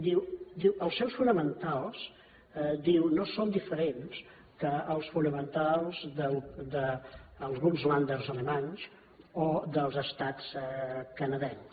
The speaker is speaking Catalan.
diu els seus fonamentals diu no són diferents dels fonamentals d’alguns ländero dels estats canadencs